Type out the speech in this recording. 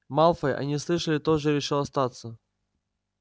малфой они слышали тоже решил остаться